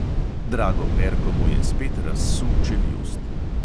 Drago perko mu je spet razsul čeljust.